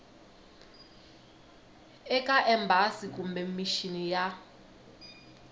eka embasi kumbe mixini ya